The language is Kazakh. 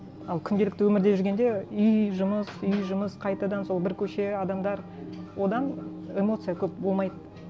ал күнделікті өмірде жүргенде үй жұмыс үй жұмыс қайтадан сол бір көше адамдар одан эмоция көп болмайды